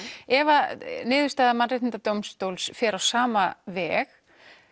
ef að niðurstöður Mannréttindadómstóls færu á sama veg